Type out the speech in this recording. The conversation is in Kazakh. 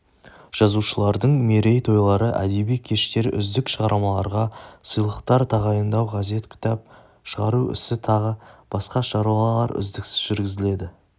жазушылардың мерей тойлары әдеби кештер үздік шығармаларға сыйлықтар тағайындау газет кітап шығару ісі тағы басқа шаруалар үздіксіз жүргізіледі